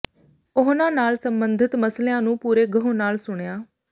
ਉਹਨਾਂ ਨਾਲ ਸੰਬੰਧਿਤ ਮਸਲਿਆਂ ਨੂੰ ਪੂਰੇ ਗਹੁ ਨਾਲ ਸੁਣਿਆ